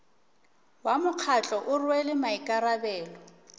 wa mokgatlo o rwele maikarabelo